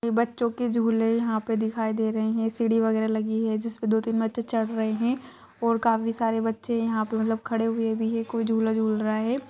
यह बच्चो के झूले जहा पे दिखाई दे रहे है सीढ़ि वगैरा लगी है जिसे दो-तीन बच्चे चढ़ रहे है और काफी सारे बच्चे यहाँ पे मतलब खड़े हुए भी है कोई झुला झूल रहा है।